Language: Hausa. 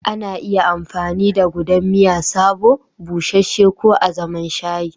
Ana iya amfani da gudan miya sabo, busasshe ko azaman shayi.